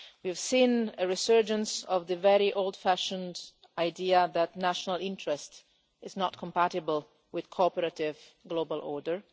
We have seen a resurgence of the very old fashioned idea that national interest is not compatible with a cooperative global order.